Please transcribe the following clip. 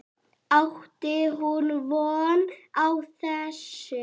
Átti hún von á þessu?